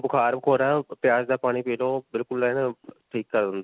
ਬੁਖਾਰ-ਬੁਖੂਰ ਹੈ ਪਿਆਜ ਦਾ ਪਾਣੀ ਪੀ ਲੋ ਠੀਕ ਕਰ ਦਿੰਦਾ ਹੈ.